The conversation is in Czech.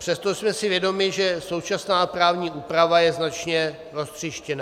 Přesto jsme si vědomi, že současná právní úprava je značně roztříštěná.